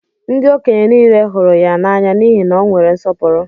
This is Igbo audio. Ndị okenye nile hụrụ ya n'anya n'ihi na o nwere nsọpụrụ.